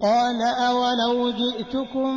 ۞ قَالَ أَوَلَوْ جِئْتُكُم